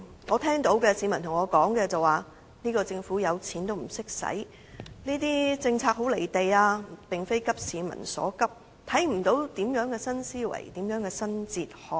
我聽到市民對我說，"政府有錢也不懂花"、"政策很'離地'，並非急市民所急，看不到有何新思維，有何新哲學"。